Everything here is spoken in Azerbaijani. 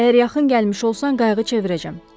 Əgər yaxın gəlmiş olsan qayıqı çevirəcəm.